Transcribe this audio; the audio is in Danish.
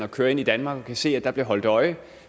og kører ind i danmark og kan se at der bliver holdt øje